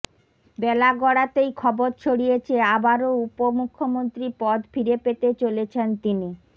বেলা গড়াতেই খবর ছড়িয়েছে আবারও উপ মুখ্যমন্ত্রী পদ ফিরে পেতে চলেছেন তিনি